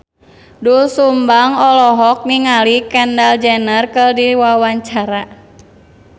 Doel Sumbang olohok ningali Kendall Jenner keur diwawancara